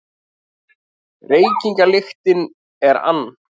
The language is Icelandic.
Reykingalyktin er ann